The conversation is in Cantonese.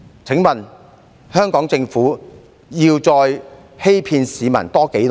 請問香港政府要再欺騙市民多久呢？